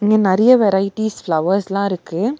இங்க நெறைய வெரைட்டீஸ் ப்ளவர்ஸ்லா இருக்கு.